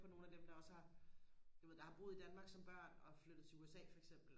på nogle af dem der også har du ved der har boet i Danmark som børn og har flyttet til USA for eksempel